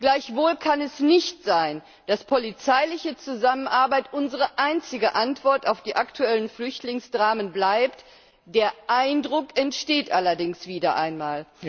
Gleichwohl kann es nicht sein, dass polizeiliche Zusammenarbeit unsere einzige Antwort auf die aktuellen Flüchtlingsdramen bleibt der Eindruck entsteht allerdings wieder einmal.